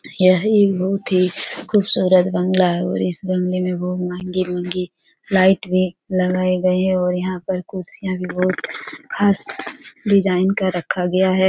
यह एक बहुत ही खूबसूरत बंगला है और इस बंगले में बहुत ही महंगे-महंगे लाइटें भी लगाए गए है और यहाँ पर कुर्सियां भी बहुत खास डिजाइन का रखा गया है।